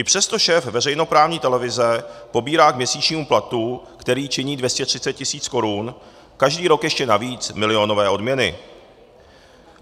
I přesto šéf veřejnoprávní televize pobírá k měsíčnímu platu, který činí 230 tisíc korun, každý rok ještě navíc milionové odměny.